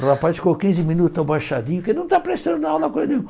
O rapaz ficou quinze minutos abaixadinho, porque não está prestando aula, coisa nenhuma.